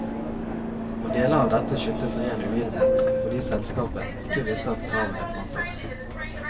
Og deler av dette skyltes ren uvitenhet, fordi selskapet ikke visste at kravene fantes.